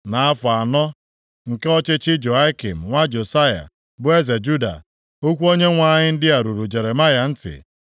Nʼafọ anọ nke ọchịchị Jehoiakim nwa Josaya bụ eze Juda, okwu Onyenwe anyị ndị a ruru Jeremaya ntị,